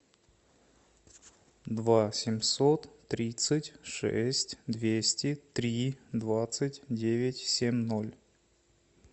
два семьсот тридцать шесть двести три двадцать девять семь ноль